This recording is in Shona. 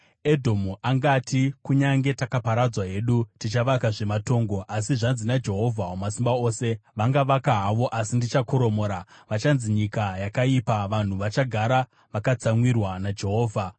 Edhomu angati, “Kunyange takaparadzwa hedu, tichavakazve matongo.” Asi zvanzi naJehovha Wamasimba Ose: “Vangavaka havo, asi ndichakoromora. Vachanzi Nyika Yakaipa, vanhu vachagara vakatsamwirwa naJehovha.